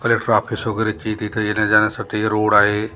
आपले तिथे येण्या जाण्यासाठी रोड आहे.